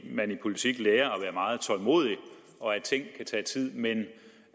man i politik lærer at være meget tålmodig og at ting kan tage tid men